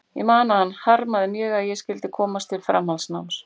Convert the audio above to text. Ég man að hann harmaði mjög að ég skyldi ekki komast til framhaldsnáms.